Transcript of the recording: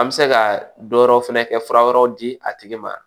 An bɛ se ka dɔ wɛrɛ fɛnɛ kɛ fura wɛrɛw di a tigi ma